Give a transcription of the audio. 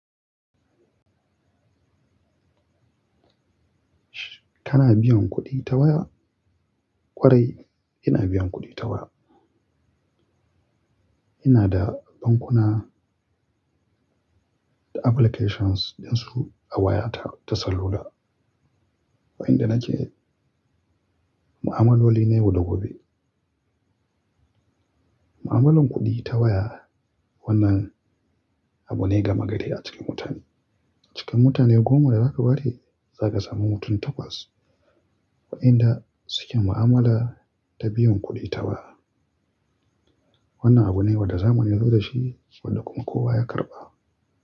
Kana biyan kuɗi ta waya? Ƙwarai ina biyan kuɗi ta waya. Ina da bankuna da applications ɗinsu a wayata ta salula, waɗanda nake mu'amaloli na yau da gobe. Mu'amalar kuɗi ta waya wannan abu ne gama gari a cikin mutane. Cikin mutane goma da zaka bari za ka sami mutum takwas waɗanda suke mu'amala ta biyan kuɗi ta waya. Wannan abu ne wanda zamani ya zo da shi wanda kuma kowa ya karɓa.